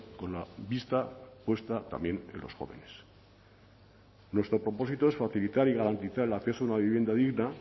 con la vista puesta también en los jóvenes nuestro propósito es facilitar y garantizar el acceso a una vivienda digna